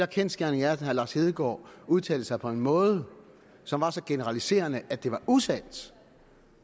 kendsgerningen er at herre lars hedegaard udtalte sig på en måde som var så generaliserende at det var usandt